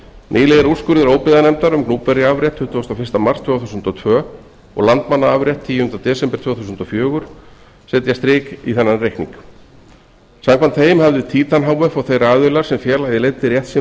nýlegir úrskurðir óbyggðanefndar um gnúpverjaafrétt tuttugasta og fyrsta mars tvö þúsund og tvö og landmannaafrétt tíunda desember tvö þúsund og fjögur setja strik í þennan reikning samkvæmt þeim hafði síðan h f og þeir aðilar sem félagið leiddi rétt sinn